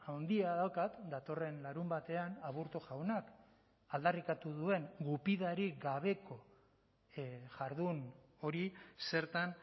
handia daukat datorren larunbatean aburto jaunak aldarrikatu duen gupidarik gabeko jardun hori zertan